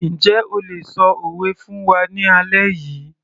Njẹ́ o lè ṣọ òwe fún wa ní alẹ́ yìí